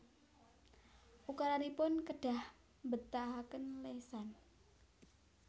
Ukaranipun kedah mbetahaken lesan